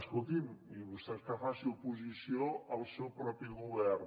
escolti’m i vostès que facin oposició al seu propi govern